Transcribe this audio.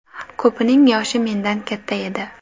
Ko‘pining yoshi mendan katta edi.